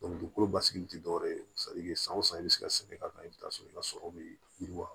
dugukolo basigi tɛ dɔwɛrɛ ye san o san i bɛ se ka sɛgɛn ka ban i bɛ t'a sɔrɔ i ka sɔrɔ bɛ yiriwa